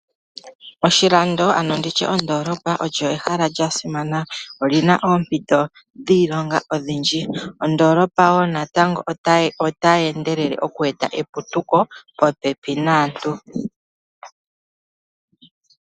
Oshilando ano nditye ondoolopa olyo ehala lya simana. Oli na oompito dhiilonga odhindji, ondoolopa woo natango otayi endelele oku eta eputuko popepi naantu.